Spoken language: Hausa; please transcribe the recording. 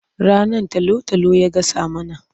Rannan talo-talo ya gasa mana.